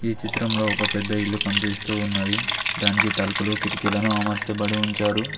ఈ చిత్రంలో ఒక పెద్ద ఇల్లు కనిపిస్తూ ఉన్నది దానికి తలుపులు కిటికీలను అమర్చబడి ఉంచారు.